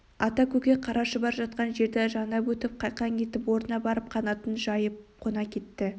ата көкек қара шұбар жатқан жерді жанап өтіп қайқаң етіп орнына барып қанатын жайып қона кетті